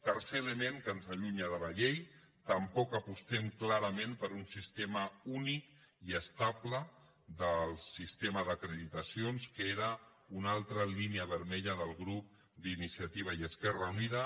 tercer element que ens allunya de la llei tampoc apostem clarament per un sistema únic i estable del sistema d’acreditacions que era una altra línia vermella del grup d’iniciativa i esquerra unida